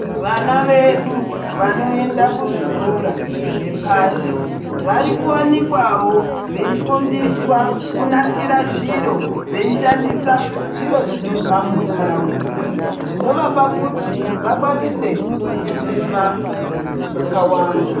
Vana vedu vanoenda ku zvikora zve pasi vari ku wanikwawo vei fundiswa ku nasira zviro vei shandisa zviro zvinobva mu ndaraunda zvino vapa kuti vakwanise kuziva zvaka wanda.